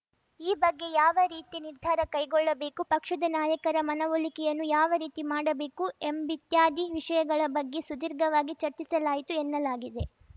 ಈ ಬಗ್ಗೆ ಯಾವ ರೀತಿ ನಿರ್ಧಾರ ಕೈಗೊಳ್ಳಬೇಕು ಪಕ್ಷದ ನಾಯಕರ ಮನವೊಲಿಕೆಯನ್ನು ಯಾವ ರೀತಿ ಮಾಡಬೇಕು ಎಂಬಿತ್ಯಾದಿ ವಿಷಯಗಳ ಬಗ್ಗೆ ಸುದೀರ್ಘವಾಗಿ ಚರ್ಚಿಸಲಾಯಿತು ಎನ್ನಲಾಗಿದೆ